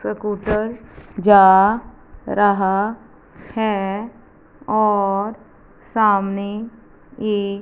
कबुतर जा रहा है और सामने एक--